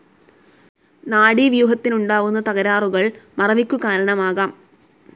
നാഡീവ്യൂഹത്തിനുണ്ടാവുന്ന തകരാറുകൾ മറവിക്കു കാരണമാകാം.